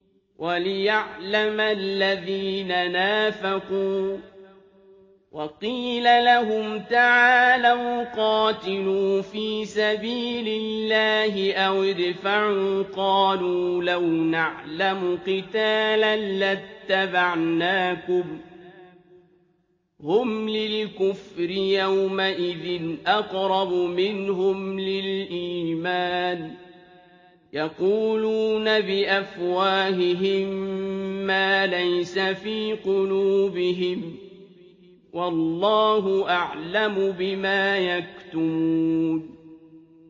وَلِيَعْلَمَ الَّذِينَ نَافَقُوا ۚ وَقِيلَ لَهُمْ تَعَالَوْا قَاتِلُوا فِي سَبِيلِ اللَّهِ أَوِ ادْفَعُوا ۖ قَالُوا لَوْ نَعْلَمُ قِتَالًا لَّاتَّبَعْنَاكُمْ ۗ هُمْ لِلْكُفْرِ يَوْمَئِذٍ أَقْرَبُ مِنْهُمْ لِلْإِيمَانِ ۚ يَقُولُونَ بِأَفْوَاهِهِم مَّا لَيْسَ فِي قُلُوبِهِمْ ۗ وَاللَّهُ أَعْلَمُ بِمَا يَكْتُمُونَ